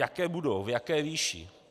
Jaké budou, v jaké výši?